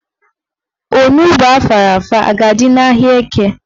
Onugbo afara afa a ga-adị n'ahịa Eke?